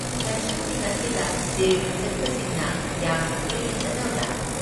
ꯂꯥꯏꯁꯪꯁꯤꯡ ꯑꯁꯤꯗ ꯇꯤꯔꯊ ꯆꯠꯄꯁꯤꯡꯅ ꯌꯥꯝꯅ ꯇꯣꯏꯅ ꯆꯠꯅꯕ꯭ꯔꯥ?